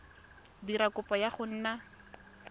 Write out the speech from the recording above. dira kopo ya go nna